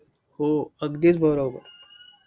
हो. अगदीचं बरोबर.